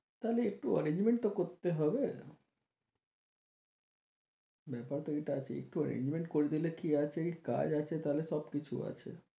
তাহলে একটু arrangement তো করতে হবে ব্যাপার তো এটা আছে একটু arrangement করে দিলে কি এই কাজ আছে তাহলে সব কিছু আছে